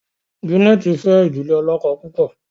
Janet fe idile olókó púpọ.